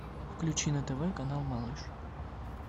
включи на тв канал малыш